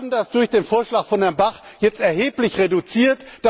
Wir haben das durch den Vorschlag von Herrn Bach jetzt erheblich reduziert.